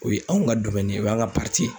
O ye anw ka ye o y'an ka ye.